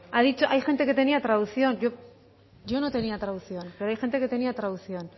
hay gente que tenía traducción yo no tenía traducción pero hay gente que tenía traducción